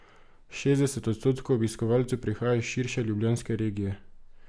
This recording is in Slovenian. Šestdeset odstotkov obiskovalcev prihaja iz širše ljubljanske regije.